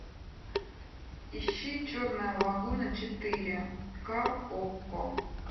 ищи черная лагуна четыре ка окко